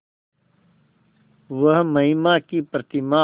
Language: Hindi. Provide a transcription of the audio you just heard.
वह महिमा की प्रतिमा